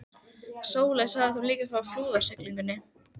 Ég finn hvernig hróp mín gera mig auðsveipa.